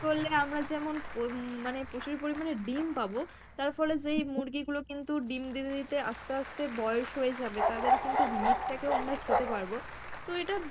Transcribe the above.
করলে আমরা যেমন উম মানে প্রচুর পরিমানে ডিম পাবো তার ফলে যেই মুরগি গুলো কিন্তু ডিম দিতে দিতে আস্তে আস্তে বয়স হয়ে যাবে তাদের কিন্তু meat টা কেও আমরা খেতে পারবো, তো এটা